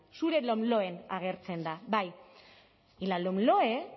zure lomloen agertzen da bai y la lomloe